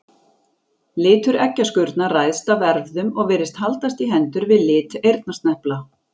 Litur eggjaskurnar ræðst af erfðum og virðist haldast í hendur við lit eyrnasnepla.